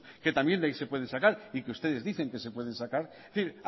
que también de ahí se pueden sacar y que ustedes dicen que se pueden sacar es decir